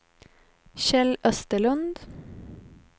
Kjell Österlund